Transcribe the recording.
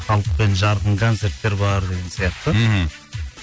халықпен жартын концерттер бар деген сияқты мхм